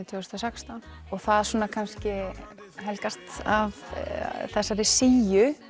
tvö þúsund og sextán það kannski helgast af þessari síu